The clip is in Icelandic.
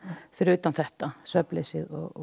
fyrir utan þetta svefnleysið og